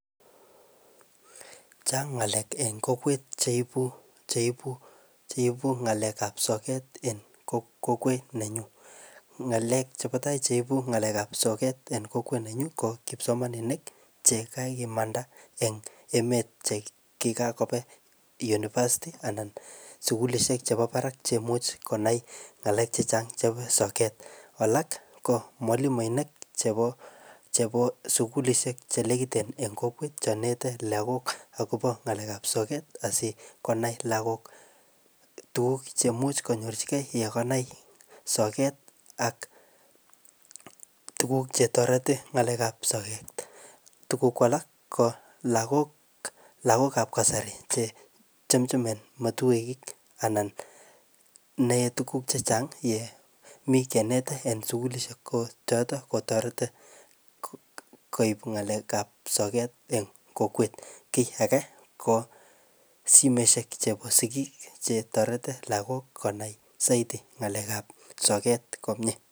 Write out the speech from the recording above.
Chang' ng'alek en kokwet cheibu-cheibu-cheibu ng'alek ap soket en kokwet nenyu. Ng'alek chebo tai cheibu ng'alek ap soket en kokwet nenyu ko kipsomaninik che kakimanda eng emet che kikakobe university anan sukulishek chebo barak chemuch konai ng'alek chechang chebo soket. Alak ko mwalimuinik chebo-chebo sukulishek che nekiten en kokwet cho nete akobo ngalek ap soket asikonai lagok tuguk chemuch konyorchikei yekanai soket ak tuguk chetoreti ng'alek ap soket. Tuguk ko alak ko lagok-lagok ap kasari che chumchumen matuek anan, nae tuguk chechang' ye mi kenet en sukulishek. Ko chotok kotoreti koip ng'alek ap soket eng kokwet. Kiy age ko simeshek chebo sigik che toreti lagok konai saidi ng'alek ap soket komyee